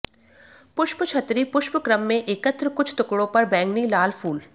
पुष्पछतरी पुष्पक्रम में एकत्र कुछ टुकड़ों पर बैंगनी लाल फूल